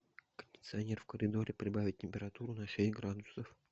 кондиционер в коридоре прибавить температуру на шесть градусов